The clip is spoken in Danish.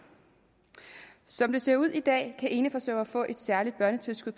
som det ser ud i dag kan eneforsørgere få et særligt børnetilskud